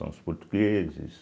São os portugueses,